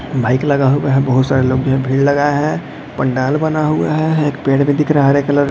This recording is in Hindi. बाइक लगा हुआ है जो बहुत सारे लंबी भीड़ लगा है पंडाल बना हुआ हैएक पेड़ भी दिख रहा है हरे कलर --